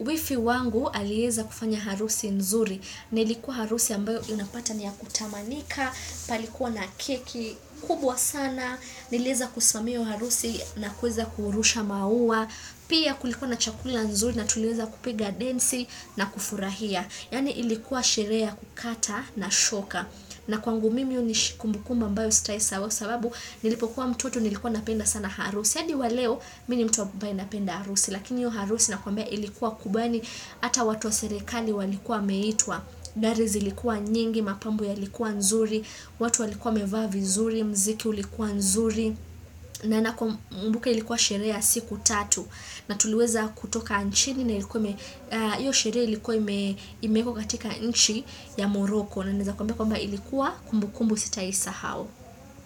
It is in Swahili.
wifi wangu alieza kufanya harusi nzuri. Na ilikuwa harusi ambayo unapata ni ya kutamanika, palikuwa na keki kubwa sana, nilieza kusimamia hiyo harusi na kuweza kurusha maua. Pia kulikuwa na chakula nzuri na tuliweza kupiga densi na kufurahia Yaani ilikuwa sheree ya kukata na shoka na kwangu mimi hunish kumbukumbu ambayo sitawai sahau kwa sababu nilipokuwa mtoto nilikuwa napenda sana harusi hadi wa leo mi ni mtu ambaye napenda harusi Lakini hiyo harusi nakwambia ilikuwa kubwa yaani Hata watu wa serikali walikuwa wameitwa Gari zilikuwa nyingi, mapambo yalikuwa nzuri watu walikuwa wamevaa vizuri, mziki ulikuwa nzuri na nakumbuka ilikuwa sheree ya siku tatu na tuliweza kutoka nchini na ilikuwa, iyo sheree ilikuwa imeekwa katika nchi ya morocco na naeza kuambia kwamba ilikuwa kumbukumbu sitaisahau.